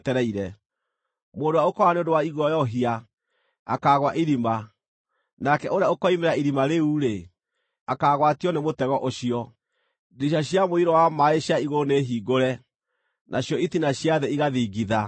Mũndũ ũrĩa ũkoora nĩ ũndũ wa iguoyohia, akaagũa irima, nake ũrĩa ũkoimĩra irima rĩu-rĩ, akaagwatio nĩ mũtego ũcio. Ndirica cia mũiyũro wa maaĩ cia igũrũ nĩhiingũre, nacio itina cia thĩ igathingitha.